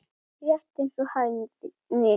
Rétt eins og hæðni.